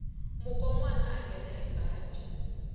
mukonwana a nghena hi baji